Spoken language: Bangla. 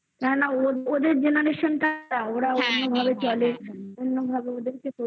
না না ওদের generation ওরাও কোনোভাবে চলে। অন্যভাবে ওদেরকে